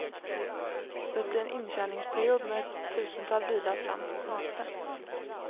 Det blir en inkörningsperiod med ett tusental bilar fram till semestern.